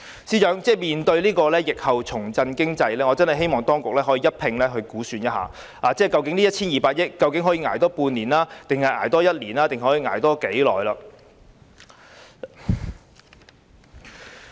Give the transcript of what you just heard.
司長，面對疫後需要重振經濟，我真的希望當局可以一併估算這 1,200 億元可以多捱半年、一年或多長的時間？